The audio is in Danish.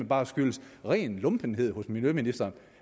bare skyldes ren lumpenhed hos miljøministeren